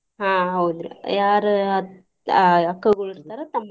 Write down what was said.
ಆಹ್ ಹೌದ್ರಿ ಯಾರ ಅ~ ಆಹ್ ಅಕ್ಕಗೊಳ ಇರ್ತಾರ ತಮ್ಮಂದಿರು.